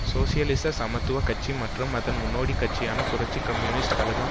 சோசியலிச சமத்துவ கட்சி மற்றும் அதன் முன்னோடிக் கட்சியான புரட்சி கம்யூனிஸ்ட் கழகம்